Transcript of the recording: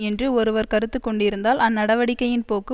என்று ஒருவர் கருத்து கொண்டிருந்தால் அந்நடவடிக்கையின் போக்கு